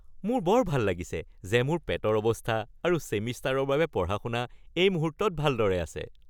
মোৰ বৰ ভাল লাগিছে যে মোৰ পেটৰ অৱস্থা আৰু ছেমিষ্টাৰৰ বাবে পঢ়া-শুনা এই মুহূৰ্তত ভালদৰে আছে।